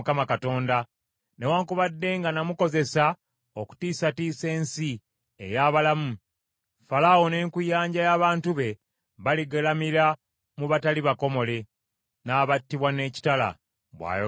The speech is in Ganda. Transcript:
Newaakubadde nga namukozesa okutiisatiisa ensi ey’abalamu Falaawo n’enkuyanja y’abantu be baligalamira mu batali bakomole, n’abattibwa n’ekitala, bw’ayogera Mukama Katonda.”